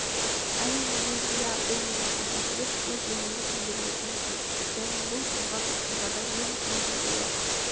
әрине мен иә бұл менің ізім деп өз-өзімді сендіруге тырыстым және бұл болған оқиғада мен өзі ойлап